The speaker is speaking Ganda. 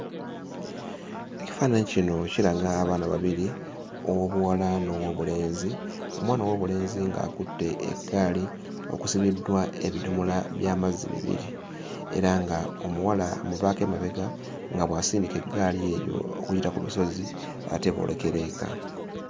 Ekifaananyi kino kiraga abaana babiri: ow'obuwala n'ow'obulenzi. Omwana ow'obulenzi ng'akutte eggaali okusibiddwa ebidomola by'amazzi bibiri, era nga omuwala amuvaako emabega nga bw'asindika eggaali eyo okuyita ku lusozi ate boolekere eka.